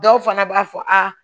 Dɔw fana b'a fɔ a